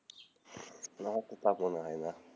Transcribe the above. না আমার তো তা মনে হয় না,